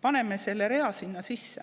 paneme selle rea sinna sisse.